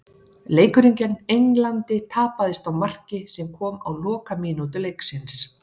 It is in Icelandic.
Leikurinn gegn Englandi tapaðist á marki sem kom á lokamínútu leiksins.